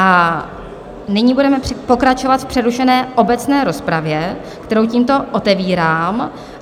A nyní budeme pokračovat v přerušené obecné rozpravě, kterou tímto otevírám.